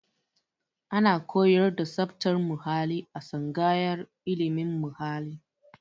Ana koyar da tsabtar muhalli a tsangayar ilimin muhalli